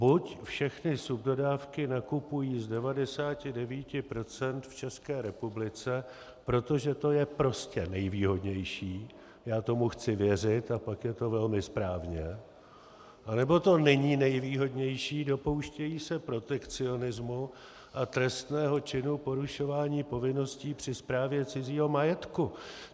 Buď všechny subdodávky nakupují z 99 % v České republice, protože to je prostě nejvýhodnější, já tomu chci věřit, a pak je to velmi správně, anebo to není nejvýhodnější, dopouštějí se protekcionismu a trestného činu porušování povinností při správě cizího majetku.